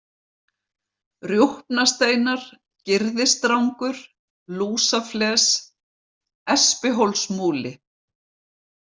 Rjúpnasteinar, Gyrðisdrangur, Lúsafles, Espihólsmúli